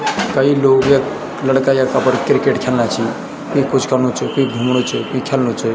कई लोग यख लड़का यख अपर क्रिकेट ख्येल्ना छी क्वि कुछ करनु च क्वि घुमणू च क्वि ख्याल्नु च।